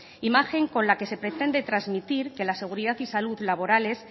imagen con la que se pretende transmitir que la seguridad y salud laborales